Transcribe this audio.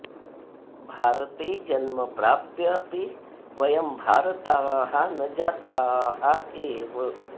भारते जन्म प्राप्य अपि वयं भारताः न जाताः एव